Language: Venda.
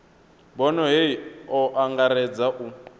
bono hei o angaredza u